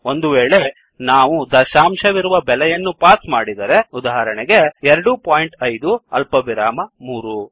ಒಂದು ವೇಳೆ ನಾವು ದಶಾಂಶವಿರುವ ಬೆಲೆಯನ್ನು ಪಾಸ್ ಮಾಡಿದರೆ ಉದಾಹರಣೆಗೆ 25 ಅಲ್ಪವಿರಾಮ 3